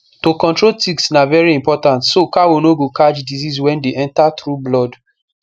to control ticks na very important so cow no go catch disease wey dey enter through blood